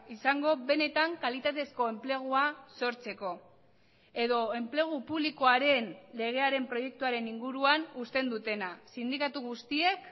izango benetan kalitatezko enplegua sortzeko edo enplegu publikoaren legearen proiektuaren inguruan uzten dutena sindikatu guztiek